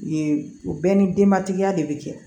Yen o bɛɛ ni denbatigiya de bɛ kɛ